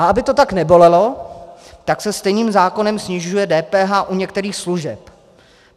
A aby to tak nebolelo, tak se stejným zákonem snižuje DPH u některých služeb.